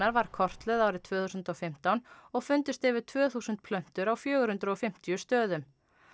var kortlögð árið tvö þúsund og fimmtán og fundust yfir tvö þúsund plöntur á fjögur hundruð og fimmtíu stöðum